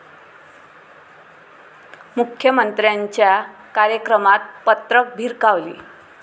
मुख्यमंत्र्यांच्या कार्यक्रमात पत्रकं भिरकावली